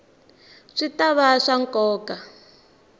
swi ta va swa nkoka